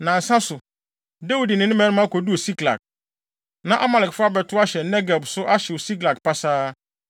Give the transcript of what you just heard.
Nnansa so, Dawid ne ne mmarima koduu Siklag. Na Amalekfo abɛtow ahyɛ Negeb so ahyew Siklag pasaa,